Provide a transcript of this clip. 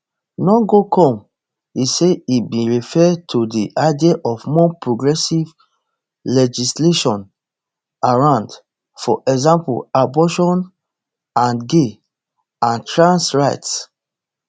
no go come e say e bin refer to di idea of more progressive legislation around for example abortion and gay and trans rights